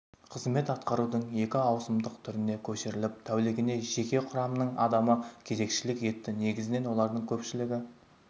қызмет атқарудың екі ауысымдық түріне көшіріліп тәулігіне жеке құрамның адамы кезекшілік етті негізінен олардың көпшілігі